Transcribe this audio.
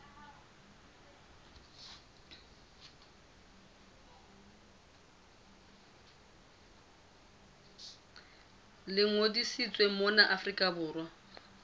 le ngodisitsweng mona afrika borwa